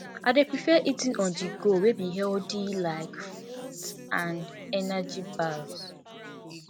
i dey prefer eating onthego wey be healthy like fruits and energy bars